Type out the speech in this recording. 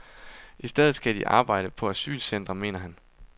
I stedet skal de arbejde på asylcentrene, mener han.